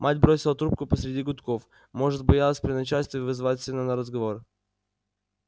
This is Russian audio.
мать бросила трубку посреди гудков может боялась при начальстве вызывать сына на разговор